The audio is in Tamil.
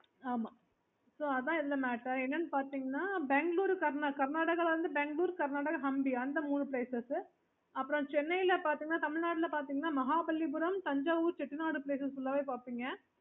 okay okay mam okay அப்போ நாங்க நாங்க okay